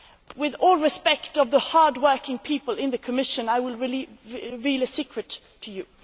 With all respect to the hard working people in the Commission, I will reveal a secret to you.